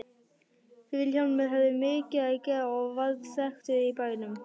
Vilhjálmur hafði mikið að gera og varð þekktur í bænum.